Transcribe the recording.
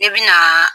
Ne bɛna